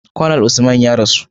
Conal Usman ya rasu